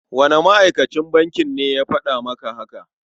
Wane ma'akacin bankin ne ya faɗa maka haka?